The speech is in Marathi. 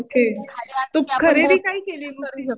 खाली आपण त्यावर बोटिंग पण करू शकतो.